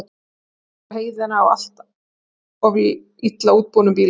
Er fólk að fara á heiðina á allt of illa útbúnum bílum?